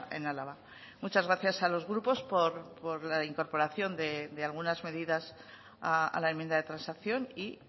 en álava muchas gracias a los grupos por la incorporación de algunas medidas a la enmienda de transacción y